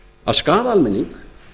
að skaða almenning